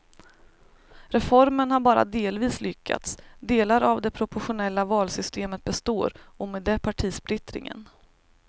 Reformen har bara delvis lyckats, delar av det proportionella valsystemet består och med det partisplittringen.